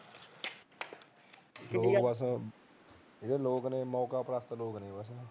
ਲੋਕ ਬਸ ਜਿਹੜੇ ਲੋਕ ਨੇ ਉਹ ਮੌਕਪ੍ਰਸਤ ਲੋਕ ਨੇ